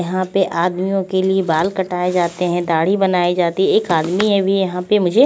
यहाँ पे आदमियों के लिए बाल कटाए जाते है ढाड़ी बनाई जाती है एक आदमी अभी यहाँ पे मुझे--